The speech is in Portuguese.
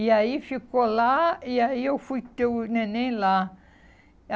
E aí ficou lá, e aí eu fui ter o neném lá.